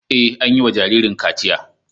Ee, an yi wa jaririn kachiya.